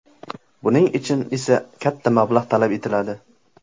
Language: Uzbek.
Buning uchun esa katta mablag‘ talab etiladi.